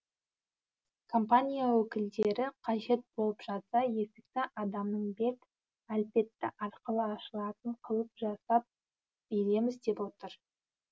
компания өкілдері қажет болып жатса есікті адамның бет әлпеті арқылы ашылатын қылып жасап береміз деп отыр